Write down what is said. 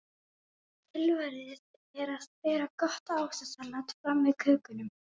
Tilvalið er að bera gott ávaxtasalat fram með kökunum.